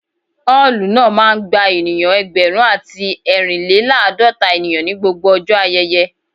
Ọ́ọ̀lù náà máa ń gba ènìyàn ẹgbẹ̀rún àti ẹrin-le-laadota ènìyàn ní gbogbo ọjọ́ ayẹyẹ